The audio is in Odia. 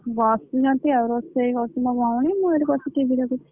ବସିଛନ୍ତି ଆଉ ରୋଷେଇ ମୁଁ ଏଠି ବସି TV ଦେଖୁଛି।